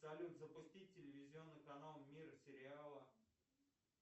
салют запусти телевизионный канал мир сериала